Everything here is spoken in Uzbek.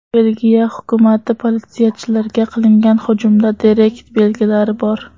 Belgiya hukumati: politsiyachilarga qilingan hujumda terakt belgilari bor.